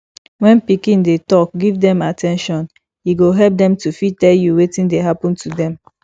when pikin dey talk give them at ten tion e go help dem to fit tell you wetin dey happen to them